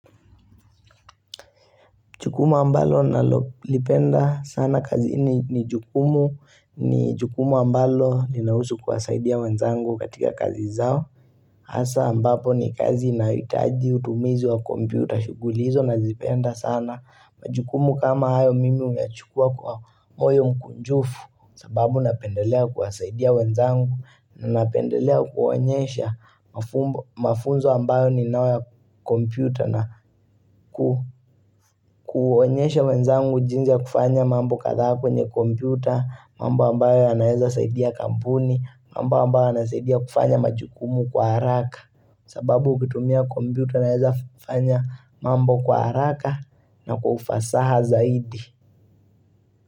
Jukumu ambalo nalolipenda sana kazi ni jukumu, ni jukumu ambalo inahusu kuwasaidia wenzangu katika kazi zao. Hasaa ambapo ni kazi inahitaji utumizi wa kompyuta. Shughuli hizo nazipenda sana. Majukumu kama hayo mimi nachukua kwa moyo mkunjufu sababu napendelea kuwasaidia wenzangu. Napendelea kuwaonyesha mafunzo ambayo ninayo ya kompyuta na kuonyesha wenzangu jinsi ya kufanya mambo kadhaa kwenye kompyuta, mambo ambayo yanaweza saidia kampuni, mambo ambayo yanasaidia kufanya majukumu kwa haraka sababu kutumia kompyuta naweza fanya mambo kwa haraka na kwa ufasaha zaidi.